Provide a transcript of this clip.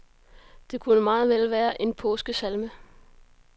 Det kunne meget vel være en påskesalme.